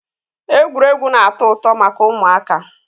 egwuregwu na-ato uto maka umuaka